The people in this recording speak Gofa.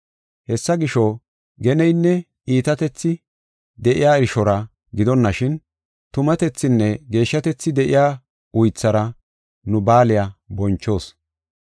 Hessi gisho, geneynne iitatethi de7iya irshora gidonashin, tumatethinne geeshshatethi de7iya uythara nu baaliya bonchoos.